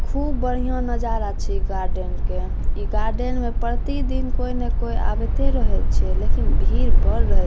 खूब बढ़िया नजारा छै गार्डन के इ गार्डन में प्रति दिन कोई ना कोई आवते रहे छै लेकिन भीड़ बढ़ रहे --